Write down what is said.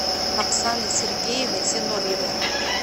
оксаной сергеевной зиновьевой